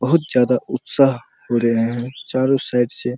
बहुत ज्यादा उत्साह हो रहे हैं चारो साइड से --